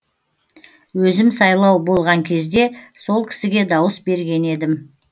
өзім сайлау болған кезде сол кісіге дауыс берген едім